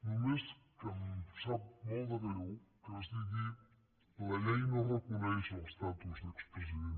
només que em sap molt de greu que es digui la llei no reconeix l’estatus d’expresident